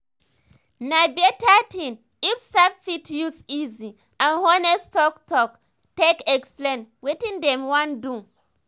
na better thing if staff fit use easy and honest talk talk take explain wetin dem wan do.